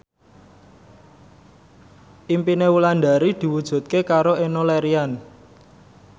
impine Wulandari diwujudke karo Enno Lerian